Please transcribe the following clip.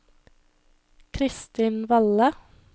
Christin Valle